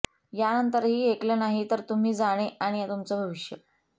यानंतरही ऐकलं नाही तर तुम्ही जाणे आणि तुमचं भविष्य